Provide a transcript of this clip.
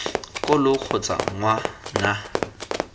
ko lo kgotsa ngwa na